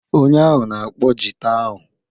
Onye ahụ na-akpọ jita ahụ.